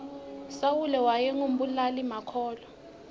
sawule wayengu mbulali makhulwa